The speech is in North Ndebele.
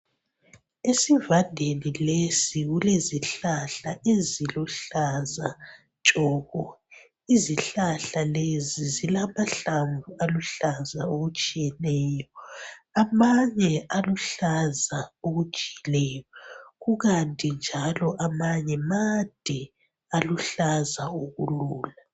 Esivandeni lesi kulezihlahla eziluhlaza tshoko izihlahla lezi zilamahlamvu aluhlaza okutshiyeneyo amanye aluhlaza okujiyileyo kukanti njalo amanye made aluhlaza okulula.